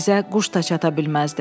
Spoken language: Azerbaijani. Bizə quş da çata bilməzdi.